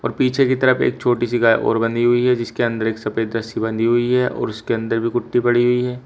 पीछे की तरफ एक छोटी सी गाय और बंधी हुई है जिसके अंदर एक सफेद रस्सी बंधी हुई है और उसके अंदर भी कुट्टी पड़ी हुई है।